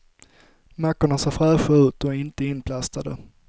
Mackorna ser fräscha ut och är inte inplastade.